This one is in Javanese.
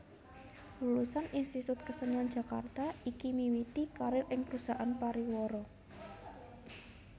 Lulusan Institut Kesenian Jakarta iki miwiti karir ing perusahaan pariwara